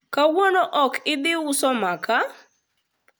kawuono ok idhi uso makaa?